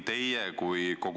Palun!